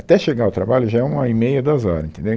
Até chegar ao trabalho já é uma hora e meia, duas horas, entendeu?